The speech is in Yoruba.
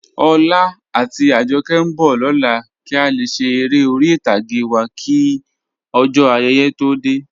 Ọlá àti Àjọ̀kẹ̀ nbọ̀ lọlá kí a lè ṣè èrè orí itàgé wa kí ojó ayéyé tó dẹ̀.